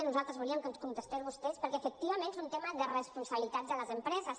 nosaltres volíem que ens contestés vostè perquè efectivament és un tema de responsabilitat de les empreses